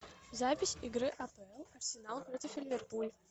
запись игры апл арсенал против ливерпуль